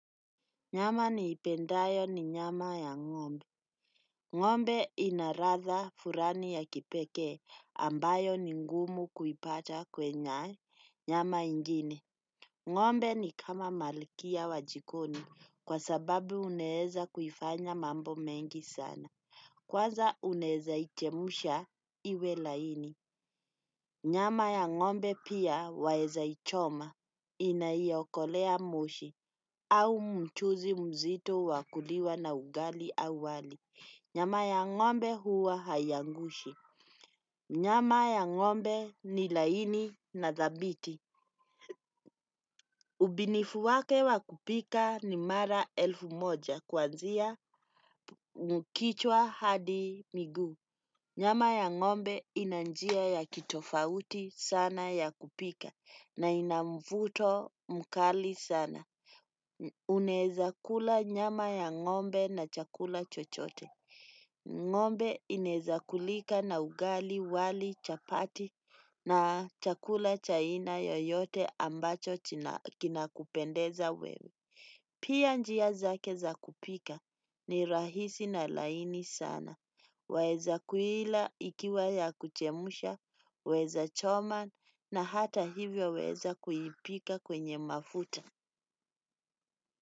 Nyama niipendayo ni nyama ya ngombe. Ngombe ina ladha fulani ya kipekee ambayo ni ngumu kuipata kwenye nyama ingine. Ngombe ni kama malkia wa jikoni kwa sababu unaweza kuifanya mambo mengi sana. Kwanza unaweza ichemsha iwe laini. Nyama ya ngombe pia waweza ichoma inaiyokolea moshi au mchuuzi mzito wa kuliwa na ugali au wali. Nyama ya ngombe huwa hai angushi. Nyama ya ngombe ni laini na dhabiti. Ubinifu wake wa kupika ni mara elfu moja kwanzia kichwa hadi miguu. Nyama ya ngombe ina njia ya kitofauti sana ya kupika na ina mvuto mkali sana. Unaweza kula nyama ya ngombe na chakula chochote. Ngombe inaweza kulika na ugali wali chapati na chakula cha aina yoyote ambacho kinakupendeza wewe. Pia njia zake za kupika ni rahisi na laini sana. Waweza kuila ikiwa ya kuchemsha, waweza choma na hata hivyo waweza kuipika kwenye mafuta.